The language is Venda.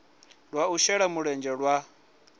lwa u shela mulenzhe lwa